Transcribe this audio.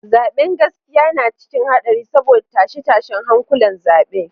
Zaben gaskiya na cikin hadari saboda tashe-tashen hankulan zabe.